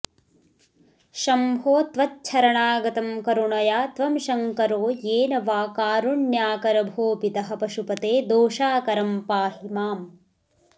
शम्भो त्वच्छरणागतं करुणया त्वं शङ्करो येन वा कारुण्याकर भो पितः पशुपते दोषाकरं पाहि माम्